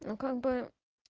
ну как бы